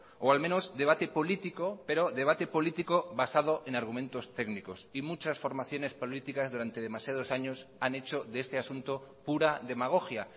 o al menos debate político pero debate político basado en argumentos técnicos y muchas formaciones políticas durante demasiados años han hecho de este asunto pura demagogia